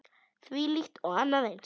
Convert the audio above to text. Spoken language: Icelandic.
Þvílíkt og annað eins.